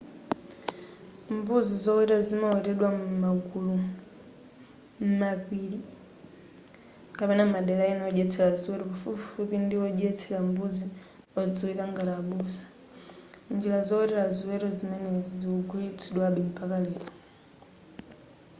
mbuzi zoweta zimawetedwa m'magulu m'mapili kapena m'madera ena odyetsela ziweto pafupipafupi ndi odyetsera mbuzi odziwika ngati abusa njira zowetera ziweto zimenezi zikugwiritsidwa mpaka lero